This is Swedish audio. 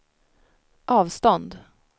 avstånd